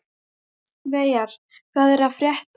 Veigar, hvað er að frétta?